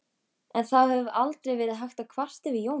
En það hefur aldrei verið hægt að kvarta yfir Jóni.